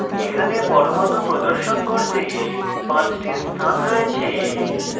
এখানে পরমাণু প্রদর্শন করতে 5 টি স্থান রয়েছে